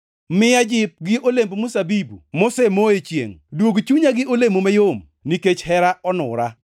Miya jip gi olemb mzabibu mosemo e chiengʼ, duog chunya gi olemo mayom, nikech hera onura.